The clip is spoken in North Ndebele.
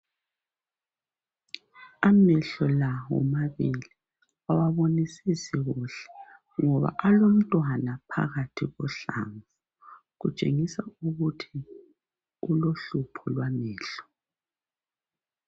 Amehlo la omabili awabonisisi kuhle ngoba olomntwana phakathi kohlanga kutshengisa ukuthi ulohlupho lwamehlo.